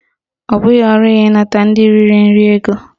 Ọ bụghị ọrụ ya ịnata ndị riri nri ego